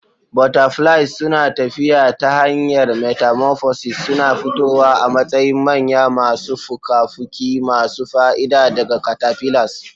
Butterflies suna tafiya ta hanyar metamorphosis, suna fitowa a matsayin manya masu fuka-fuki masu fa'ida daga caterpillars.